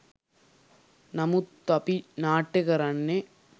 නමුත් අපි නාට්‍ය කරන්නේ